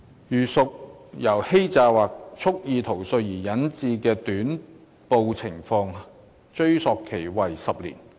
如屬由欺詐或蓄意逃稅而引致的短報情況，追溯期為10年。